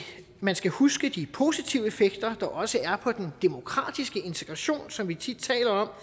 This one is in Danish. man skal huske de positive effekter der også er på den demokratiske integration som vi tit taler